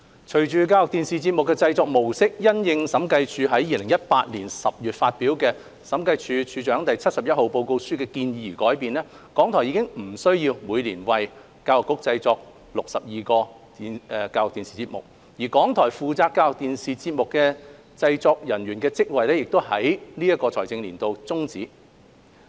隨着教育電視節目的製作模式因應審計署於2018年10月發表的《審計署署長第七十一號報告書》的建議而改變，港台已不需要每年為教育局製作62個教育電視節目，港台負責教育電視節目製作的職位亦已於本財政年度終止。